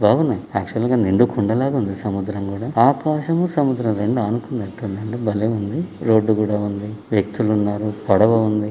బాగున్నాయి యా క్చువల్ గా నిండు కుండ లాగా ఉంది. సముద్రమ్ కూడా ఆకాశం సముద్రమ్ రెండు అనుకున్నట్లు ఉంది. అంటే భలే ఉంది. రోడ్డు కూడా ఉంది వ్యక్తులు ఉన్నారు పడవ ఉంది.